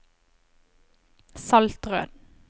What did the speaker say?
Saltrød